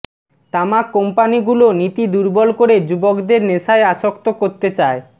তামাক কম্পনিগুলো নীতি দুর্বল করে যুবকদের নেশায় আসক্ত করতে চায়